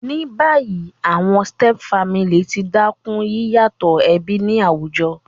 Ní bayí, àwon stepfamily ti dákún yíyàtò ẹbí ni àwùjo